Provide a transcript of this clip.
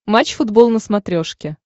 матч футбол на смотрешке